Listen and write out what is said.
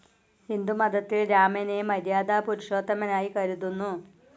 ഹിന്ദുമതത്തിൽ രാമനെ മര്യാദാ പുരുഷോത്തമനായി കരുതുന്നു.